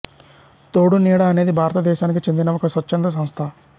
తోడు నీడ అనేది భారతదేశానికి చెందిన ఒక స్వచ్ఛంద సంస్థ